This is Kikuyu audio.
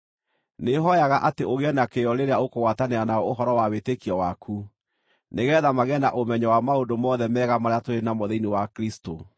Nĩhooyaga atĩ ũgĩe na kĩyo rĩrĩa ũkũgwatanĩra nao ũhoro wa wĩtĩkio waku, nĩgeetha magĩe na ũmenyo wa maũndũ mothe mega marĩa tũrĩ namo thĩinĩ wa Kristũ.